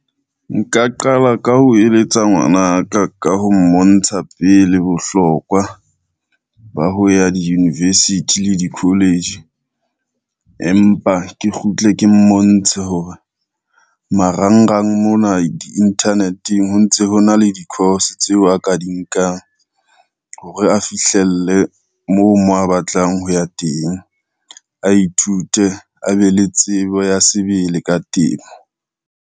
Nka qala ka ho eletsa ngwanaka ka ho mmontsha pele bohlokwa, ba ho ya di-university le di-college, empa ke kgutle ke mmontshe hore marangrang mona, di-internet-eng, ho ntse ho na le di-course tseo a ka di nkang hore a fihlele moo mo a batlang ho ya teng, a ithute a be le tsebo ya sebele ka temo.